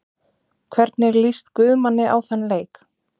Hvernig lýst Guðmanni á þann leik?